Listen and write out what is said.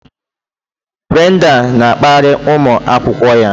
Brenda na-akparị ụmụ akwụkwọ ya